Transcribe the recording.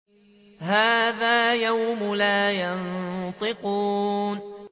هَٰذَا يَوْمُ لَا يَنطِقُونَ